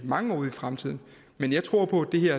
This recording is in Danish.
mange år ud i fremtiden men jeg tror på at det her